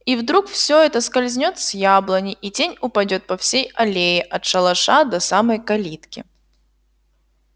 и вдруг всё это скользнёт с яблони и тень упадёт по всей аллее от шалаша до самой калитки